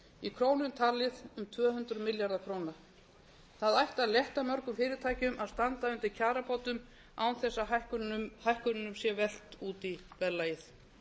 í krónum talið um tvö hundruð milljarðar króna það ætti að létta mörgum fyrirtækjum að standa undir kjarabótum án þess að hækkununum sé velt út í verðlagið